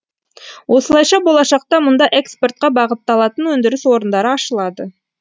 осылайша болашақта мұнда экспортқа бағытталатын өндіріс орындары ашылады